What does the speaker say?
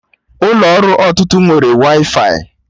Ụlọ ọrụ ọtụtụ nwere waifai